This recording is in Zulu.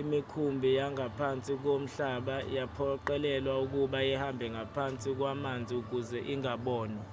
imikhumbi yangaphansi komhlaba yaphoqelelwa ukuba ihambe ngaphansi kwamanzi ukuze ingabonwa